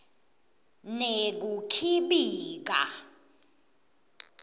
nekukhibika